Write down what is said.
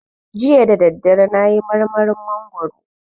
Jiya dadadare nayi marmarin mangwaro